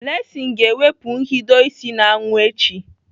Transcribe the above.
Blessing ga-ewepụ nhido ịsị n'anwụ echi.